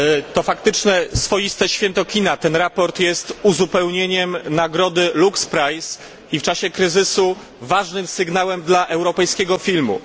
To faktyczne swoiste święto kina, to sprawozdanie jest uzupełnieniem nagrody LUX i w czasie kryzysu ważnym sygnałem dla europejskiego filmu.